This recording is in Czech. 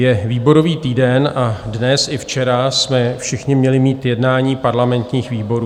Je výborový týden a dnes i včera jsme všichni měli mít jednání parlamentních výborů.